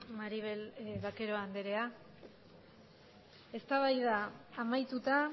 maribel vaquero andrea eztabaida amaituta